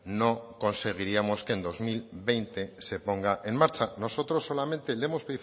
no conseguiríamos que en dos mil veinte se ponga en marcha nosotros solamente le hemos